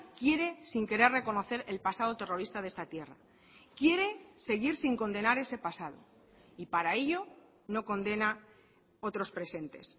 quiere sin querer reconocer el pasado terrorista de esta tierra quiere seguir sin condenar ese pasado y para ello no condena otros presentes